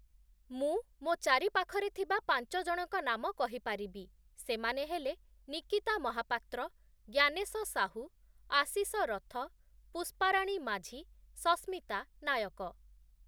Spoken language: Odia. ମୁଁ ମୋ' ଚାରି ପାଖରେ ଥିବା ପାଞ୍ଚଜଣଙ୍କ ନାମ କହିପାରିବି ସେମାନେ ହେଲେ ନିକିତା ମହାପାତ୍ର ଜ୍ଞାନେସ ସାହୁ ଆଶିଷ ରଥ ପୁଷ୍ପାରାଣୀ ମାଝୀ ସସ୍ମିତା ନାୟକ